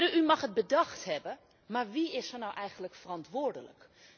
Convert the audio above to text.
Heren, u mag het bedacht hebben, maar wie is er nou eigenlijk verantwoordelijk?